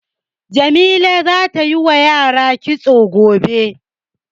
Jamila za ta yi wa yara kitso gobe.